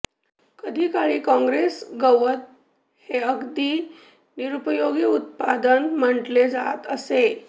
कधीकाळी कॉंग्रेस गवत हे अगदी निरुपयोगी उत्पादन म्हटले जात असे